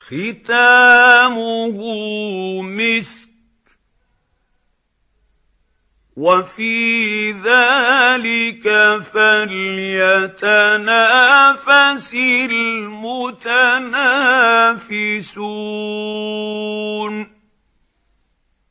خِتَامُهُ مِسْكٌ ۚ وَفِي ذَٰلِكَ فَلْيَتَنَافَسِ الْمُتَنَافِسُونَ